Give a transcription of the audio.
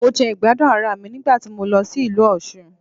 Mo jẹ ìgbádùn ara mi nígbà tí mo lọ sí ìlú Òsun